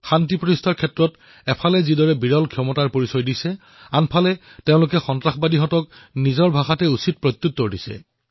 শান্তিৰ স্থাপনাৰ বাবে যত তেওঁলোকে অতুলনীয় ক্ষমতা প্ৰদৰ্শিত কৰিছে ঠিক তেনেদৰেই একে পৰাক্ৰমেৰে আক্ৰমণকাৰীকো উচিত প্ৰত্যুত্তৰ দিছে